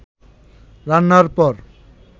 রান্নার পর